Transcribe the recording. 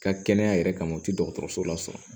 Ka kɛnɛya yɛrɛ kama u tɛ dɔgɔtɔrɔso lasɔrɔ